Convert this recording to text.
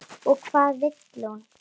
Og hvað vill hún?